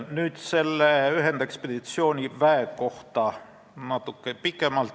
Nüüd sellest ühendekspeditsiooniväest natuke pikemalt.